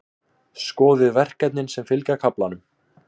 Skoðið verkefnin sem fylgja kaflanum.